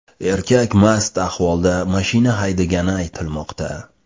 Erkak mast ahvolda mashina haydagani aytilmoqda.